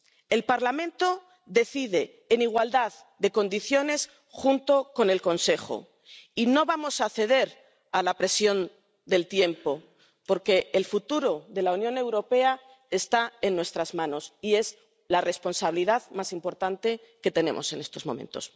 El Parlamento decide en igualdad de condiciones junto con el Consejo y no vamos a ceder a la presión del tiempo porque el futuro de la Unión Europea está en nuestras manos y es la responsabilidad más importante que tenemos en estos momentos.